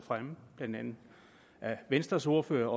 blandt andet venstres ordfører